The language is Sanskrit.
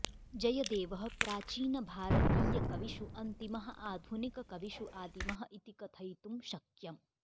जयदेवः प्राचीनभारतीयकविषु अन्तिमः आधुनिककविषु आदिमः इति कथयितुं शक्यम्